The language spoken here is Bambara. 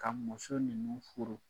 Ka muso ninnu furu.